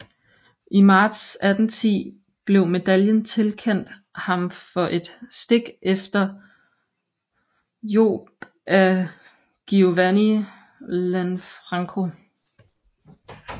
I marts 1810 blev medaljen tilkendt ham for et stik efter Hjob af Giovanni Lanfranco